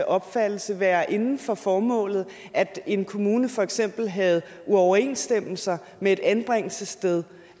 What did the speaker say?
opfattelse være inden for formålet at en kommune for eksempel havde uoverensstemmelser med et anbringelsessted